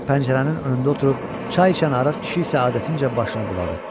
Pəncərənin önündə oturub çay içən arıq kişi isə adətincə başını buladı.